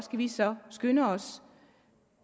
vi så skynde os